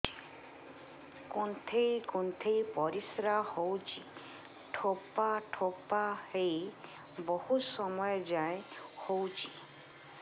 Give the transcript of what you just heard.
କୁନ୍ଥେଇ କୁନ୍ଥେଇ ପରିଶ୍ରା ହଉଛି ଠୋପା ଠୋପା ହେଇ ବହୁତ ସମୟ ଯାଏ ହଉଛି